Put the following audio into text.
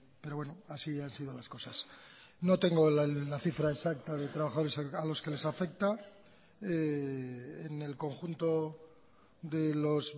pero bueno así han sido las cosas no tengo la cifra exacta de trabajadores a los que les afecta en el conjunto de los